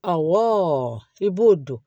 Awɔ i b'o don